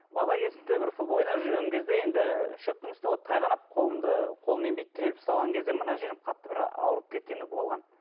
бала кезімде бір футбол ойнап жүрген кезде енді ы шөптің үсті ғой тайғанап қолымды қолыммен бүйтіп тіреліп ұсталған кезде мына жерім қатты бір ауырып кеткені болған